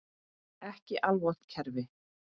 Ekki alvont kerfi.